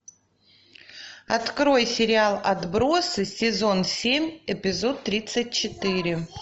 открой сериал отбросы сезон семь эпизод тридцать четыре